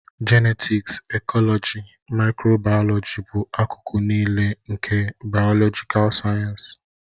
Jenetiksi, ekọlọji, maịkrobayọlọji bụ akụkụ niile nke bayolojikal sayensị